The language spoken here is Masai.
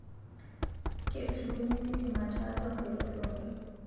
Ketushukunye sitima taatwa mperot uni